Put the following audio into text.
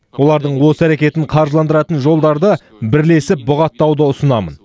олардың осы әрекетін қаржыландыратын жолдарды бірлесіп бұғаттауды ұсынамын